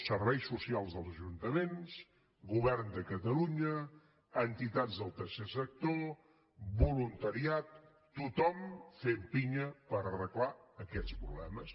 serveis socials dels ajuntaments govern de catalunya entitats del tercer sector voluntariat tothom fent pinya per arreglar aquests problemes